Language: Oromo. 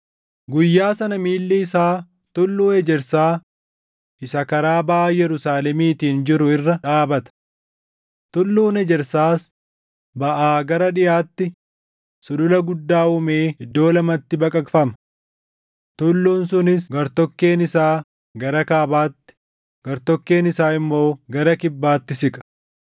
Guyyaa sana miilli isaa Tulluu Ejersaa isa karaa baʼa Yerusaalemiitiin jiru irra dhaabata; Tulluun Ejersaas baʼaa gara dhiʼaatti sulula guddaa uumee iddoo lamatti baqaqfama. Tulluun sunis gartokkeen isaa gara kaabaatti, gartokkeen isaa immoo gara kibbaatti siqa.